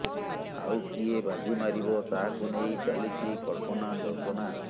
ଆଉ କିଏ ବାଜି ମାରିବ ତାହାକୁ ନେଇ ଚାଲିଛି କଳ୍ପନା ଜଳ୍ପନା